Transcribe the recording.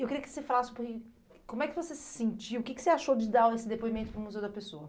Eu queria que você falasse um pouquinho como é que você se sentiu, o que que você achou de dar esse depoimento para o Museu da Pessoa?